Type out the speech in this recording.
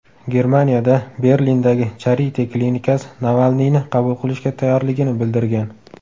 Germaniyada Berlindagi Charite klinikasi Navalniyni qabul qilishga tayyorligini bildirgan.